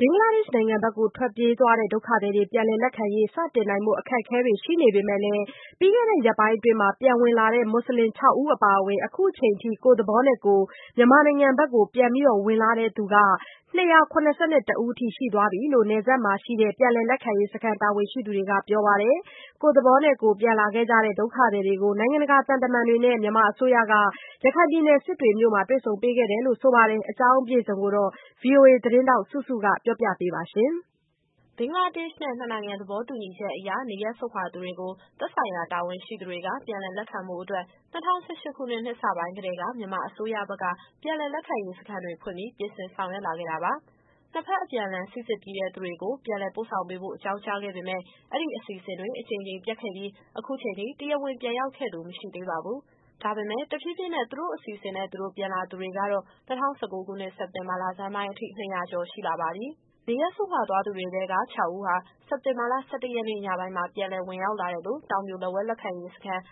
ဘင်္ဂလားဒေ့ရှ်နိုင်ငံဘက် ထွက်ပြေးသွားကြတဲ့ ဒုက္ခသည်တွေ ပြန်လက်ခံရေးကိစ္စ စတင်နိုင်ဖို့ အခက်အခဲတွေ ရှိနေပေမယ့်လည်း ပြီးခဲ့တဲ့ရက်ပိုင်းအတွင်း ပြန်ဝင်လာတဲ့ မွတ်ဆလင် ၆ ဦး အပါအဝင် အခုချိန်ထိ ကိုယ့်သဘောနဲ့ကိုယ် မြန်မာနိုင်ငံဘက်ကို ပြန်ဝင်လာသူ ၂၇၁ ဦး ရှိသွားပြီလို့ နယ်စပ်မှာရှိတဲ့ ပြန်လည် လက်ခံရေးစခန်း တာဝန်ရှိသူတွေက ပြောပါတယ်။ ကိုယ့်သဘောနဲ့ကိုယ် ပြန်လာခဲ့ကြတဲ့ ဒုက္ခသည်တွေကို နိုင်ငံတကာသံတမန်တွေနဲ့ မြန်မာအစိုးရက စစ်တွေမြို့မှာ တွေ့ဆုံပေးခဲ့တယ်လို့ ဆိုပါတယ်။ ဒီအကြောင်း အပြည့်အစုံကို ဗွီအိုအေသတင်းထောက် စုစုကပြောပြပေးသွားမှာပါ။ ဘင်္ဂလားဒေ့ရှ်နဲ့ နှစ်နိုင်ငံသဘောတူညီချက်အရ နေရပ်စွန့်ခွာသူတွေကို သက်ဆိုင်ရာတာဝန်ရှိသူတွေက ပြန်လည်လက်ခံဖို့အတွက် ၂၀၁၈ခုနှစ် နှစ်စပိုင်းကတည်းက မြန်မာအစိုးရဘက်က ပြန်လည်လက်ခံရေးစခန်းတွေဖွင့်ပြီး ပြင်ဆင်ဆောင်ရွက် လာခဲ့တာပါ။ နှစ်ဘက် အပြန်အလှန် စိစစ်ပြီးတဲ့ သူတွေကို ပြန်လည်ပို့ဆောင်ပေးဖို့ အကြောင်းကြားခဲ့ပေမယ့် အဲဒီ အစီအစဉ်တွေ အကြိမ်ကြိမ် ပျက်ခဲ့ပြီး ခုချိန်ထိ တရားဝင်ပြန်ရောက်ခဲ့သူ မရှိသေးပါဘူး။ ဒါပေမယ့် တဖြည်းဖြည်းနဲ့ သူတို့အစီအစဉ်နဲ့သူတို့ ပြန်လာသူတွေကတော့ ၂၀၁၉ခုနှစ် စက်တင်ဘာလဆန်းပိုင်းထိ ၂၀၀ကျော်ရှိလာပါပြီ။ နေရပ်စွန့်ခွာသွားသူတွေထဲက ခြောက်ဦးဟာ စက်တင်ဘာလ ၁၁ရက်နေ့ ညပိုင်းမှာ ပြန်လည်ဝင်ရောက်လာတယ်လို့ တောင်ပြိုလက်ဝဲ လက်ခံရေးစခန်း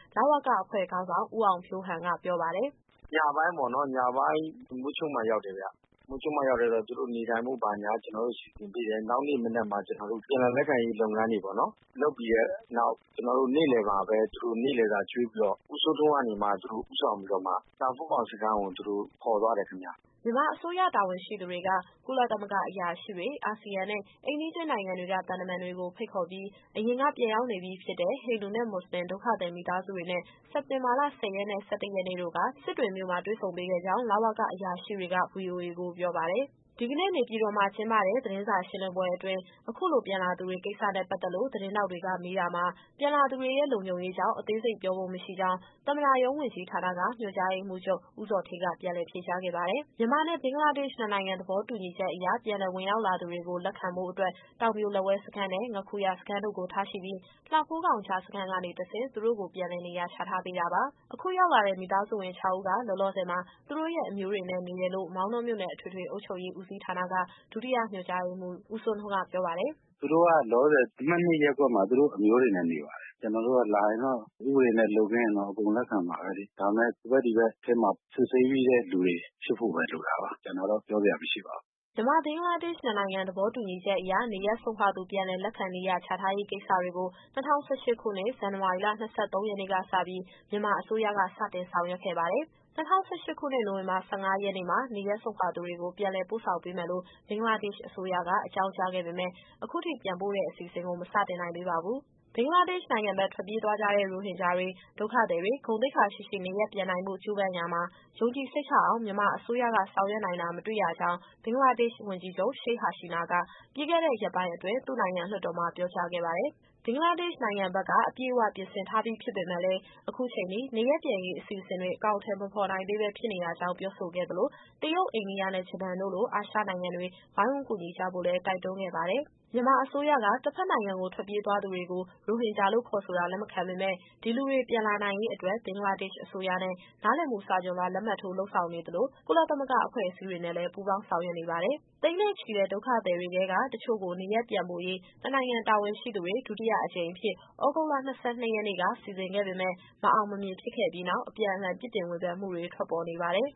အဖွဲ့ခေါင်းဆောင် ဦးအောင်ဖြိုးဟန်က ပြောပါတယ်။ "ညပိုင်းပေါ့နော်။ ညပိုင်းမိုးချုပ်မှ ရောက်တယ်ဗျ။ မိုးချုပ်မှရောက်တယ်ဆိုတော့ သူတို့နေထိုင်ဖို့ ဘာညာက ကျတော်တို့ စီစဉ်ပေးတယ်။ နောက်နေ့မနက်မှာ ကျတော်တို့ ပြန်လည်လက်ခံရေး လုပ်ငန်းတွေပေါ့နော် လုပ်ပြီးတဲ့နောက်၊ ကျတော်တို့နေ့လည်မှာပဲ သူတို့နေ့လည်စာ ကျွေးပြီးတော့ ဦးစိုးထွန်းကနေမှ သူတို့ဦးဆောင်ပြီးတော့မှ လှဖိုးခေါင်စခန်းကို သူတို့ခေါ်သွားတယ်ခင်ဗျ။" မြန်မာအစိုးရ တာဝန်ရှိသူတွေက ကုလသမဂ္ဂအရာရှိတွေ၊ အာဆီယံနဲ့ အိမ်နီးချင်းနိုင်ငံတွေက သံတမန်တွေကို ဖိတ်ခေါ်ပြီး အရင်က ပြန်ရောက်နေပြီးဖြစ်တဲ့ ဟိန္ဒူနဲ့ မွတ်ဆလင် ဒုက္ခသည် မိသားစုတွေနဲ့ စက်တင်ဘာ ၁၀ ရက်နဲ့ ၁၁ ရက်တို့က စစ်တွေမြို့မှာ တွေ့ဆုံပေးခဲ့ကြောင်း လဝက အရာရှိတွေက ဗွီအိုအေကို ပြောပါတယ်။ ဒီကနေ့ နေပြည်တော်မှာ ကျင်းပတဲ့ သတင်းစာရှင်းလင်းပွဲအတွင်း အခုလို ပြန်လာသူတွေကိစ္စနဲ့ပတ်သက်လို့ သတင်းထောက်တွေက မေးတာမှာ - ပြန်လာသူတွေရဲ့ လုံခြုံရေးကြောင့် အသေးစိတ်ပြောဖို့မရှိကြောင်း သမ္မတရုံးဝန်ကြီးဌာနက ညွှန်ကြားရေးမှူးချုပ် ဦးဇော်ဌေးက ပြန်လည် ဖြေကြားခဲ့ပါတယ်။ မြန်မာနဲ့ ဘင်္ဂလားဒေ့ရှ် နှစ်နိုင်ငံသဘောတူညီချက်အရ ပြန်လည်ဝင်ရောက်လာသူတွေကို လက်ခံဖို့အတွက် တောင်ပြိုလက်ဝဲစခန်းနဲ့ ငါးခူရစခန်းတို့ကို ထားရှိပြီး၊ လှဖိုးခေါင် ကြားစခန်းကနေတဆင့် သူတို့ကို ပြန်လည်နေရာချထားပေးတာပါ။ အခုရောက်လာတဲ့ မိသားစုဝင် ခြောက်ဦးက လောလောဆယ်မှာ သူတို့ရဲ့အမျိုးတွေနဲ့အတူ နေတယ်လို့ မောင်တောမြို့နယ်၊ အထွေထွေအုပ်ချုပ်ရေး ဦးစီးဌာနက ဒုတိယညွှန်ကြားရေးမှူး ဦးစိုးထွန်းကပြောပါတယ်။ "သူတို့က လောလောဆယ် အမှတ်၂ရပ်ကွက်မှာ သူတို့အမျိုးတွေနဲ့ နေပါတယ်။ ကျတော်တို့ကလာရင်တော့ ဥပဒေနဲ့လွတ်ကင်းရင်တော့ အကုန်လက်ခံမှာပဲလေ။ ဒါပေမယ့် ဟိုဘက်၊ ဒီဘက်အထဲမှာ စစ်ဆေးပြီးတဲ့လူတွေ ဖြစ်ဖို့ပဲ လိုတာပါ။ ကျန်တာတော့ပြောစရာမရှိပါဘူး။" မြန်မာ - ဘင်္ဂလားဒေ့ရှ် နှစ်နိုင်ငံသဘောတူညီချက်အရ နေရပ်စွန့်ခွာသူ ပြန်လည်လက်ခံ၊ နေရာချထားရေးကိစ္စရပ်တွေကို ၂၀၁၈ခုနှစ်၊ ဇန်နဝါရီလ ၂၃ရက်နေ့ကစပြီး မြန်မာအစိုးရက စတင်ဆောင်ရွက်ခဲ့ပါတယ်။ ၂၀၁၈ခုနှစ်၊ နိုဝင်ဘာလ ၁၅ရက်နေ့မှာ နေရပ်စွန့်ခွာသူတွေကို ပြန်လည်ပို့ဆောင်ပေးမယ်လို့ ဘင်္ဂလားဒေ့ရှ်အစိုးရက အကြောင်းကြားခဲ့ ပေမယ့် အခုချိန်ထိ ပြန်ပို့တဲ့အစီအစဉ်ကို မစတင်နိုင်သေးပါဘူး။ ဘင်္ဂလားဒေ့ရှ်နိုင်ငံဘက် ထွက်ပြေးသွားကြတဲ့ ရိုဟင်ဂျာတွေ ဒုက္ခသည်တွေ ဂုဏ်သိက္ခာရှိရှိ နေရပ်ပြန်နိုင်ဖို့ ကြိုးပမ်းရာမှာ ယုံကြည်စိတ်ချအောင် မြန်မာအစိုးရက ဆောင်ရွက်နိုင်တာ မတွေ့ရကြောင်း ဘင်္ဂလားဒေ့ရှိ ဝန်ကြီးချုပ် Sheikh Hasina က ပြီးခဲ့တဲ့ ရက်ပိုင်းအတွင်း သူ့နိုင်ငံလွှတ်တော်မှာ ပြောကြားခဲ့ပါတယ်။ ဘင်္ဂလားဒေ့ရှ်နိုင်ငံဘက်က အပြည့်အ၀ ပြင်ဆင်ထားပြီး ဖြစ်ပေမဲ့လည်း အခုအချိန်အထိ နေရပ်ပြန်ရေး အစီအစဉ်တွေ အကောင်အထည် မဖော်နိုင်သေးဘဲ ဖြစ်နေရကြောင်း ပြောဆိုခဲ့သလို၊တရုတ်၊ အိန္ဒိယနဲ့ ဂျပန်တို့လို အာရှနိုင်ငံတွေ ဝိုင်းဝန်းကူညီကြဖို့လည်း တိုက်တွန်းခဲ့ပါတယ်။ မြန်မာအစိုးရက တဘက်နိုင်ငံကို ထွက်ပြေးသွားသူတွေကို ရိုဟင်ဂျာလို့ ခေါ်ဆိုတာ လက်မခံပေမယ့် ဒီလူတွေ ပြန်လာနိုင်ရေးအတွက် ဘင်္ဂလားဒေ့ရှ် အစိုးရနဲ့ နားလည်မှုစာချွန်လွှာ လက်မှတ်ထိုး လုပ်ဆောင်နေသလို ကုလသမဂအဖွဲ့အစည်းတွေနဲ့လည်း ပူးပေါင်း ဆောင်ရွက်နေပါတယ်။ သိန်းနဲ့ချီတဲ့ ဒုက္ခသည်တွေထဲက တချို့ကို နေရပ်ပြန်ပို့ရေး နှစ်နိုင်ငံတာဝန်ရှိသူတွေ ဒုတိယအကြိမ်အဖြစ် သြဂုတ်လ ၂၂ ရက်နေ့က စီစဉ်ခဲ့ပေမဲ့ မအောင်မမြင် ဖြစ်ခဲ့ပြီးနောက် အပြန်အလှန် ပြစ်တင်ဝေဖန်မှုတွေ ထွက်ပေါ်နေပါတယ်